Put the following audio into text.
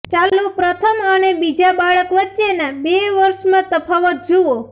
ચાલો પ્રથમ અને બીજા બાળક વચ્ચેના બે વર્ષમાં તફાવત જુઓ